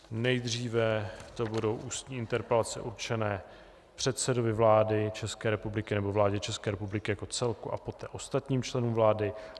Nejdříve to budou ústní interpelace určené předsedovi vlády České republiky nebo vládě České republiky jako celku a poté ostatním členům vlády.